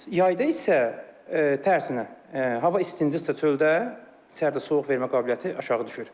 Yayda isə tərsinə, hava istindirsə çöldə, içəridə soyuq vermə qabiliyyəti aşağı düşür.